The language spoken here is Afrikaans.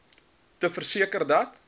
te verseker dat